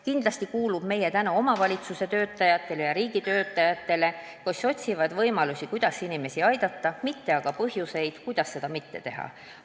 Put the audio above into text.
Kindlasti kuulub meie tänu omavalitsuste töötajatele ja riigitöötajatele, kes otsivad võimalusi, kuidas inimesi aidata, mitte aga põhjuseid, kuidas seda mitte teha.